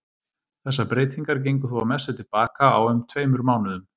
Þessar breytingar gengu þó að mestu til baka á um tveimur mánuðum.